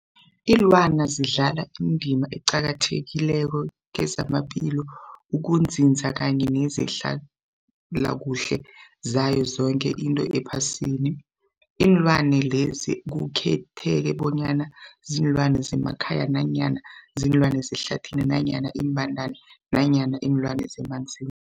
Ilwana zidlala indima eqakathekileko kezamaphilo, ukunzinza kanye nezehlala kuhle yazo zoke izinto ephasini. Iinlwana lezi akukhethi bonyana ziinlwana zemakhaya nanyana kuziinlwana zehlathini nanyana iimbandana nanyana iinlwana zemanzini.